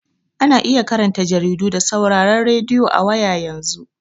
Ana iya karanta jaridu da sauraron radiyo a waya yanzu.